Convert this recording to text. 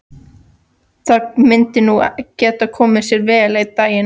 Það myndi nú geta komið sér vel einn daginn.